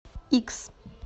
икс